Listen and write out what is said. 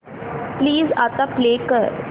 please आता play कर